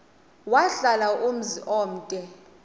wahlala umzum omde